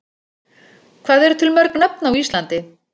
Hvað eru til mörg nöfn á Íslandi?